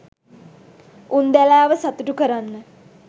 උන්දැලාව සතුටු කරන්න